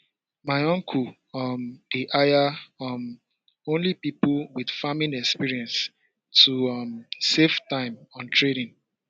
my uncle um dey hire um only people with farming experience to um save time on training